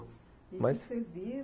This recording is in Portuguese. E o que vocês viram?